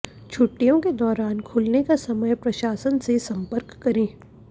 छुट्टियों के दौरान खुलने का समय प्रशासन से संपर्क करें